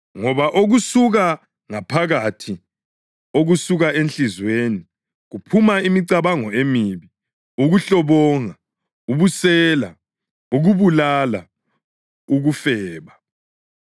Ngoba okusuka ngaphakathi, okusuka enhliziyweni, kuphuma imicabango emibi, ukuhlobonga, ubusela, ukubulala, ukufeba,